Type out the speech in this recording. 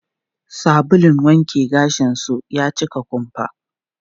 Sabulun wanke gashin su ya cika kumfa.